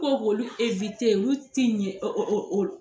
Ko k'olu ewite olu ti yɛ o o o